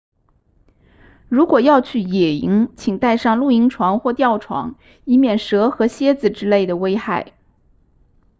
如果要去野营请带上露营床或吊床以免蛇和蝎子之类的危害